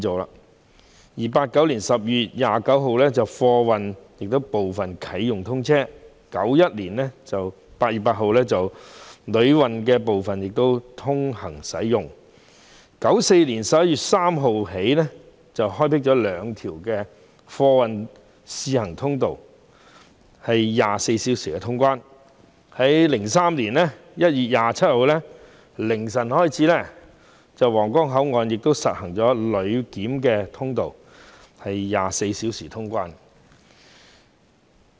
1989年12月29日，皇崗口岸的貨檢區建成啟用 ；1991 年8月8日，旅檢區亦通關 ；1994 年11月3日，兩條貨運通道試行，供24小時通關之用 ；2003 年1月27日零時起，皇崗口岸實施旅檢24小時通關。